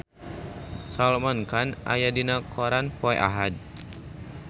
Salman Khan aya dina koran poe Ahad